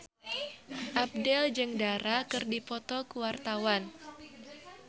Abdel jeung Dara keur dipoto ku wartawan